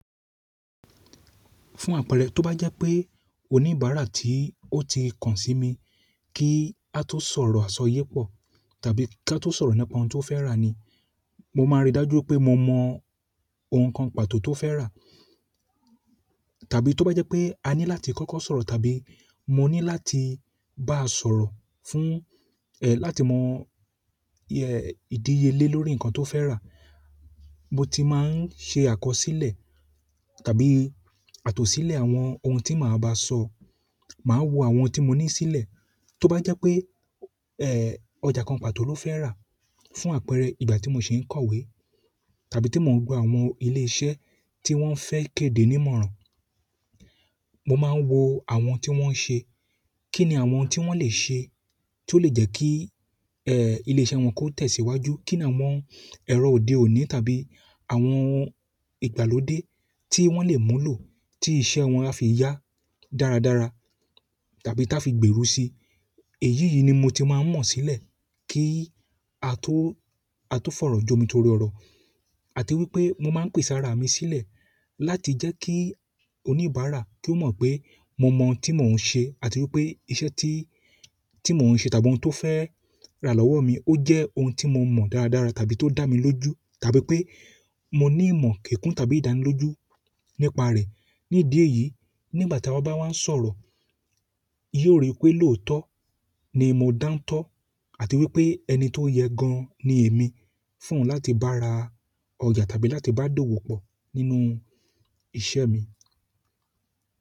Fún àpẹẹrẹ, tó bá jẹ́ pé oníbàárà tí ó ti kàn sí mi kí á tó sọ̀rọ̀ àsọyépọ̀ tàbí kí á tó sọ̀rọ̀ nípa ohun tó fẹ́ rà ni, mo máa rí i dájú pé mo mọ ohun kan pàtó tó fẹ́ rà. Tàbí tó bá jẹ́ pé a ní láti kọ́kọ́ sọ̀rọ̀ tàbí mo ní láti bá a sọ̀rọ̀ fún, ẹ́, láti mọ, ẹ́, ìdíye lé lórí nǹkan tó fẹ́ rà, mo ti máa ń ṣe àkọsílẹ̀ tàbí àtòsilẹ̀ àwọn ohun tí màá ba sọ. Màá wo àwọn ohun tí mo ní sílẹ̀. Tó bá jẹ́ pé, ẹ́, ọjà kan pàtó ló fẹ́ rà, fún àpẹẹrẹ, ìgbà tí mo ṣe ń kọ̀wé tàbí tí mo ń gba àwọn ilé iṣẹ́ tí wọ́n fẹ́ kéde nímọ̀ràn, mo máa wo àwọn tí wọ́n ń ṣe. Kí ni àwọn ohun tí wọ́n lè ṣe tó lè jẹ́ kí, ẹ́, ilé iṣẹ́ wọn kó tẹ̀síwájú? Kí ni àwọn ẹ̀rọ òde òní tàbí àwọn ohun ìgbàlódé tí wọ́n lè mú lò tí iṣẹ́ wọn a fi yá dáradára tàbí táa fi gbèrú si? Èyí ni mo ti maa n mọ silẹ ki a to fọrọ jomitoro ọrọ àti wípé mo maa n pese ara mi silẹ láti jẹ́ kí oníbàárà kí ó mọ̀ pé mo mọ ohun tí mò ń ṣe àti wípé iṣẹ́ tí, tí mò ń ṣe tàbí ohun tó fẹ́ rà lọ́wọ́ mi ó jẹ́ ohun tí mo mọ̀ dáradára tàbí tó dà mí lójú, tàbí pé mo ní ìmọ̀ kikun tàbí ìdánilójú nípa rẹ̀. Ni ídi eyì, nígbà tí a bá wá ń sọ̀rọ̀, yóò rí pé lóòótọ́ ni mo dántọ́ àti wípé ẹni tó yẹ gan ni èmi fún láti bá ra ọjà tàbí láti bá dówò pọ̀ nínú iṣẹ́ mi.